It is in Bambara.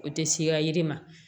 O tɛ siya yiri ma